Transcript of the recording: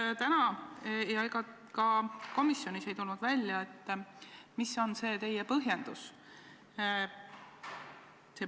Ei täna ega ka komisjonis ei tulnud välja, mis on see teie põhjendus.